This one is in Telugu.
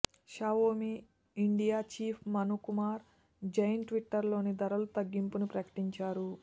Xiaomi India chief Manu Kumar Jain Twitter లో ధరల తగ్గింపుని ప్రకటించారు